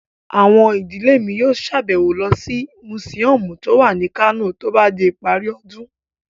Àwọn ìdílé mi yóò sàbẹ̀wo lọ sí mùsíọ̀mù tó wà ní Kano tó bá di ìparí ọdún